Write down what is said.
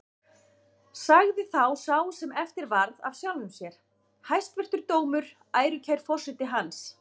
Sagði þá sá sem eftir varð af sjálfum sér: Hæstvirtur dómur, ærukær forseti hans!